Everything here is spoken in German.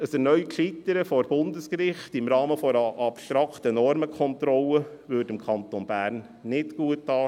Ein erneutes Scheitern vor Bundesgericht – im Rahmen einer abstrakten Normenkontrolle – stünde dem Kanton Bern nicht gut an.